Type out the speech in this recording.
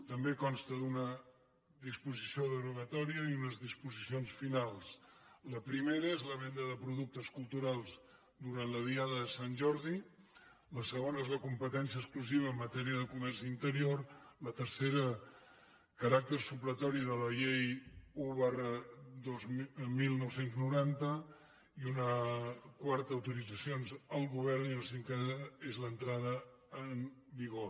també consta d’una disposició derogatòria i unes disposicions finals la primera és la venda de productes culturals durant la diada de sant jordi la segona és la competència exclusiva en matèria de comerç interior la tercera el caràcter supletori de la llei un dinou noranta una quarta autoritzacions al govern i la cinquena és l’entrada en vigor